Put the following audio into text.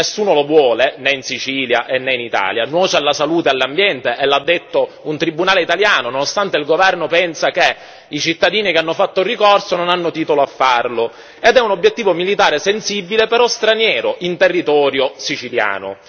Nessuno lo vuole, né in Sicilia né in Italia, nuoce alla salute e all'ambiente, e l'ha detto un tribunale italiano, nonostante il governo pensi che i cittadini che hanno fatto ricorso non avessero titolo a farlo, ed è un obiettivo militare sensibile, ma straniero, in territorio siciliano.